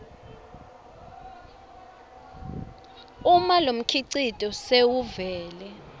uma lomkhicito sewuvele